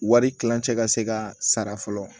Wari kilancɛ ka se ka sara fɔlɔ